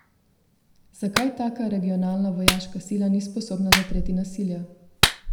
Zakaj taka regionalna vojaška sila ni sposobna zatreti nasilja?